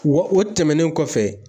Wa o tɛmɛnen kɔfɛ